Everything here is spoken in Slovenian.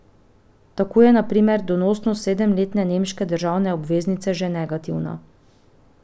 Tako je na primer donosnost sedemletne nemške državne obveznice že negativna.